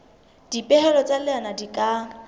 dipehelo tsa leano di ka